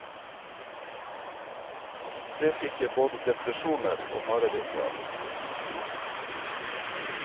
Det fikk jeg både depresjoner og mareritt av.